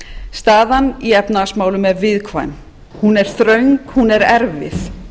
staðan í efnahagsmálum er viðkvæm hún er ströng hún er erfið